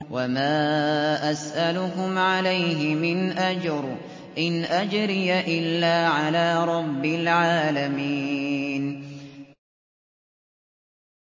وَمَا أَسْأَلُكُمْ عَلَيْهِ مِنْ أَجْرٍ ۖ إِنْ أَجْرِيَ إِلَّا عَلَىٰ رَبِّ الْعَالَمِينَ